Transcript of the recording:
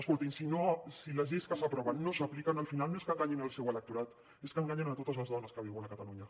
escoltin si les lleis que s’aproven no s’apliquen al final no és que enganyin el seu electorat és que enganyen a totes les dones que viuen a catalunya